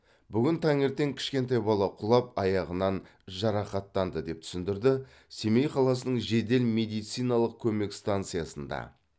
бүгін таңертең кішкентай бала құлап аяғынан жарақаттанды деп түсіндірді семей қаласының жедел медициналық көмек станциясында